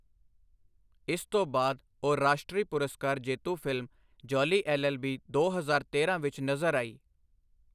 ਇਸ ਤੋਂ ਬਾਅਦ ਉਹ ਰਾਸ਼ਟਰੀ ਪੁਰਸਕਾਰ ਜੇਤੂ ਫ਼ਿਲਮ ਜੌਲੀ ਐੱਲ.ਐੱਲ.ਬੀ. ਦੋ ਹਜ਼ਾਰ ਤੇਰਾਂ ਵਿੱਚ ਨਜ਼ਰ ਆਈ।